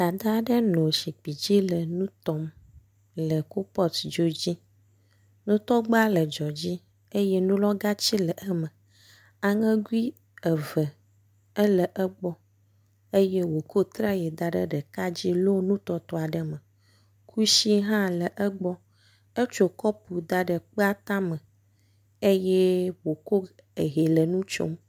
Dada aɖe nɔ zikpui dzi nɔ ŋu tɔm le kupɔtidzo dzi. Ŋutɔgba le dzoa dzi eye nulɔgati le eme. Aŋegui eve le egbɔ eye wokɔ traye da ɖe ɖeka dzi lɔ nu tɔtɔa ɖe eme. Kusi hã le egbɔ. Ekɔ kɔpu da ɖe kpea tame eye wokɔ hɛ le nu tsom.